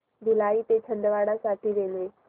भिलाई ते छिंदवाडा साठी रेल्वे